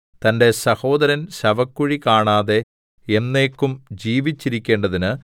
സഹോദരൻ ശവക്കുഴി കാണാതെ എന്നേക്കും ജീവിച്ചിരിക്കേണ്ടതിന്